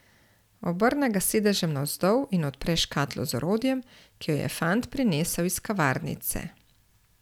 Obrne ga s sedežem navzdol in odpre škatlo z orodjem, ki jo je fant prinesel iz kavarnice.